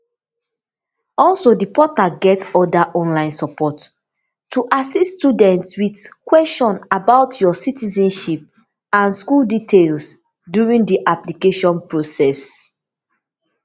also di portal get oda online support to assist students wit kwensions about your citizenship and school details during di application process